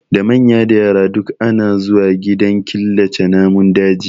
Da manya da yara duk ana zuwa gidan killace namun daji